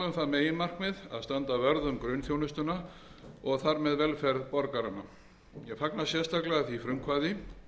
það meginmarkmið að standa vörð um grunnþjónustuna og þar með velferð borgaranna ég fagna sérstaklega því frumkvæði